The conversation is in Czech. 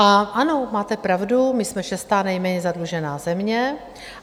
A ano, máte pravdu, my jsme šestá nejméně zadlužená země.